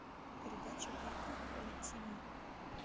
передача кхл тв